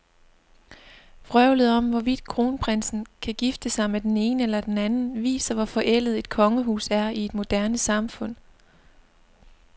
Vrøvlet om, hvorvidt kronprinsen kan gifte sig med den ene eller den anden, viser, hvor forældet et kongehus er i et moderne samfund.